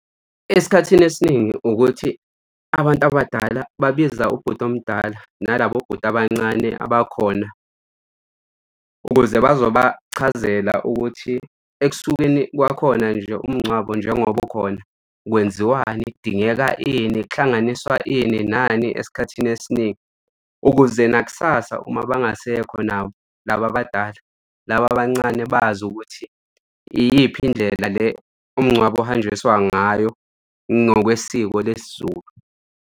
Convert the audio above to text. Esikhathini esiningi ukuthi abantu abadala babiza ubhuti omdala nalabo bhuti abancane abakhona ukuze bazobachazela ukuthi ekusukeni kwakhona nje umngcwabo njengoba ukhona, kwenziwani? Kudingeka ini? Kuhlanganiswa ini? Nani? Esikhathini esiningi ukuze nakusasa, uma bangasekho nabo laba abadala, laba abancane bazi ukuthi iyiphi indlela le umngcwabo ohanjiswa ngayo ngokwesiko lesiZulu.